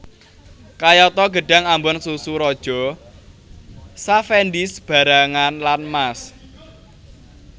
Kayata gedhang ambon susu raja cavendish barangan lan mas